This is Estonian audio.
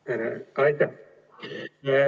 Aitäh!